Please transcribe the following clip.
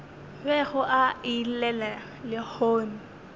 bego a e llela lehono